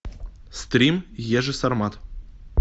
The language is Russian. стрим ежи сармат